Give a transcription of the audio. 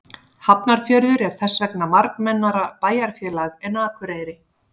Hafnarfjörður er þess vegna fjölmennara bæjarfélag en Akureyri.